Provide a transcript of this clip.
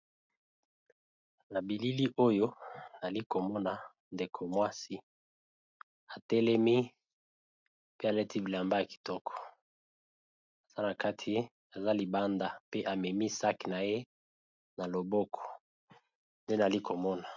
Nabilili oyo nalikomona ndeko mwasi atelemi pe alati bilamba ya kitoko azalibanda pe amemi sake naye naloboko